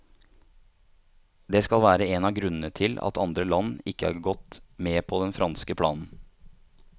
Det skal være en av grunnene til at andre land ikke har gått med på den franske planen.